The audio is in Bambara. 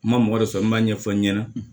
N ma mɔgɔ wɛrɛ sɔrɔ n b'a ɲɛfɔ n ɲɛna